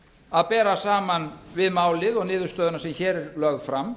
að bera saman við málið og niðurstöðuna sem hér er lögð fram